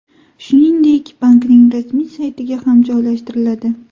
Shuningdek, bankning rasmiy saytiga ham joylashtiriladi.